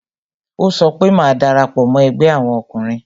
Ó sọ pé "Má darapo mo ẹgbẹ́ àwọn ọkùnrin